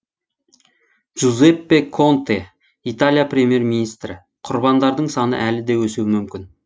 джузеппе конте италия премьер министрі құрбандардың саны әлі де өсуі мүмкін